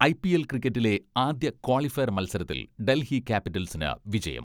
IPL ക്രിക്കറ്റിലെ ആദ്യ qualifier മത്സരത്തിൽ ഡൽഹി ക്യാപിറ്റൽസിന് വിജയം.